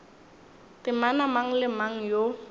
temana mang le mang yo